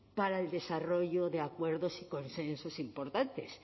para el desarrollo de acuerdos y consensos importantes